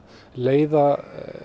leiða